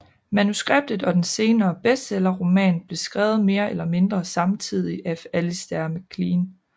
Manuskriptet og den senere bestseller roman blev skrevet mere eller mindre samtidigt af Alistair MacLean